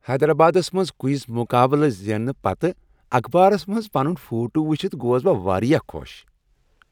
حیدرآبادس منز کوئز مقابلہٕ زیننہٕ پتہٕ اخبارس منز پنن فوٹو وُچھتھ گوس بہٕ واریاہ خوش۔